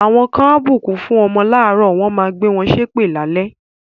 Àwọn kan á bùkún fún ọmọ láàárọ̀, wọ́n máa gbe ṣépè lálẹ́.